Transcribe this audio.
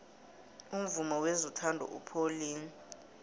umvumo wezothando upholile